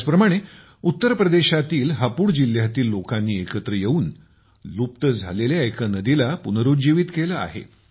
त्याचप्रमाणे उत्तर प्रदेशातील हापुड जिल्ह्यातील लोकांनी एकत्र येऊन लुप्त झालेल्या एका नदीला पुरुज्जीवित केले आहे